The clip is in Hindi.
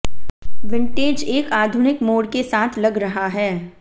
विंटेज एक आधुनिक मोड़ के साथ लग रहा है